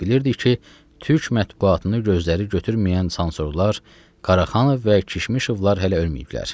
Biliydik ki, türk mətbuatını gözləri götürməyən çansorlar Qaraqanov və Kişmişovlar hələ ölməyiblər.